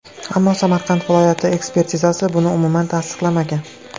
Ammo Samarqand viloyati ekspertizasi buni umuman tasdiqlamagan.